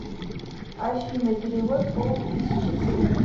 афина перевод пол тысячи сыну